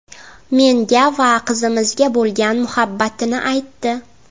Menga va qizimizga bo‘lgan muhabbatini aytdi.